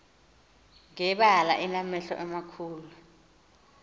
ngebala enamehlo amakhulu